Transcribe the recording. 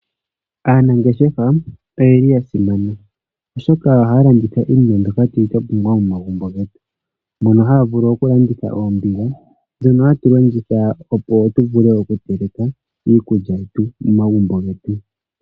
Aanangeshefa oyeli ya simana oshoka ohaya landitha iinima mbyoka twa pumbwa momagumbo getu mono haya vulu okulanditha oombiga dhono ha tu longitha opo tu vule oku teleka iikulya momagumbo getu.